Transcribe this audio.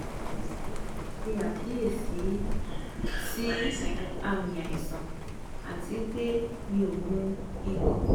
emi o se akiyesi si aami aisan ati pe mi mu nkankan